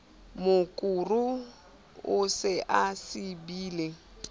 mokuru o se o sibile